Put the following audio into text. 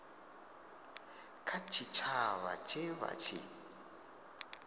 kha tshitshavha tshe vha tshi